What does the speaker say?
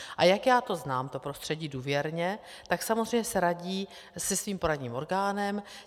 A jak já to znám, to prostředí, důvěrně, tak samozřejmě se radí se svým poradním orgánem.